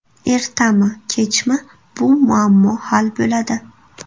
Ertami kechmi bu muammo hal bo‘ladi.